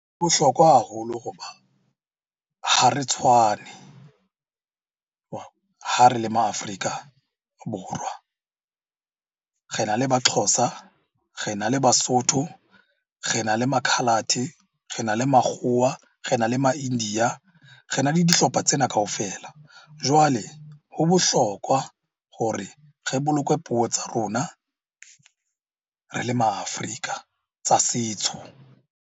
Ho bohlokwa haholo hoba ha re tshwane ha re le ma Afrika Borwa. Re na le Baxhosa, re na le Basotho, re na le ma coloured, rena le makgowa, re na le ma india, rena le dihlopha tsena kaofela. Jwale ho bohlokwa hore re boloke puo tsa rona re le Ma Afrika tsa setso.